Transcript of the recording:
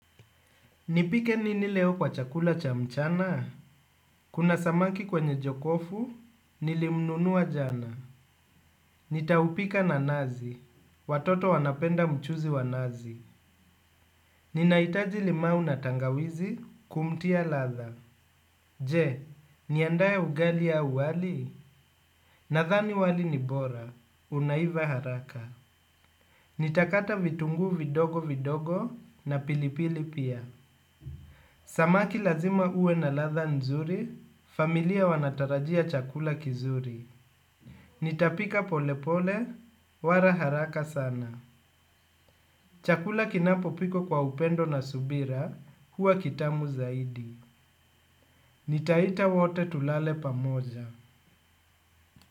Nipike nini leo kwa chakula cha mchana? Kuna samaki kwenye jokofu, nilimnunuwa jana. Nitaupika nanazi, watoto wanapenda mchuzi wa nazi. Ninaitaji limau na tangawizi, kumtia ladha. Je, niandaye ugali au wali? Nadhani wali ni bora, unaiva haraka. Nitakata vitunguu vidogo vidogo na pilipili pia. Samaki lazima uwe na ladha nzuri, familia wanatarajia chakula kizuri. Nitapika pole pole, wara haraka sana. Chakula kinapopikwa kwa upendo na subira, huwa kitamu zaidi. Nitaita wote tulale pamoja.